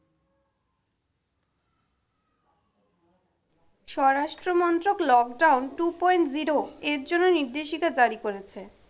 স্বরাষ্ট্রমন্ত্রক lockdown two point zero এর জন্য নির্দেশিকা জারি করেছে।